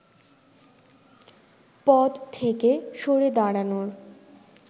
পদ থেকে সরে দাঁড়ানোর